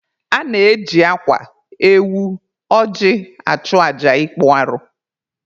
A na-eji akwa, ewu, ọjị achụ aja ịkpụ arụ.